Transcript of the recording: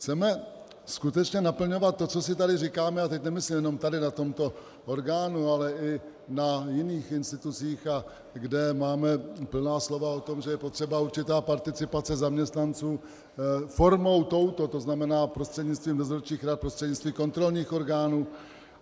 Chceme skutečně naplňovat to, co si tady říkáme, a teď nemyslím jenom tady na tomto orgánu, ale i na jiných institucích, kde máme plná slova o tom, že je potřeba určitá participace zaměstnanců formou touto, to znamená prostřednictvím dozorčích rad, prostřednictvím kontrolních orgánů?